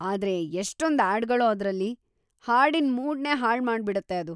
ಆದ್ರೆ ಎಷ್ಟೊಂದ್‌ ಆಡ್‌ಗಳೋ ಅದ್ರಲ್ಲಿ, ಹಾಡಿನ್ ಮೂಡ್‌ನೇ ಹಾಳ್‌ ಮಾಡ್ಬಿಡತ್ತೆ ಅದು.